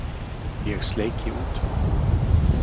Ég sleiki út um.